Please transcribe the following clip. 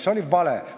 See oli vale.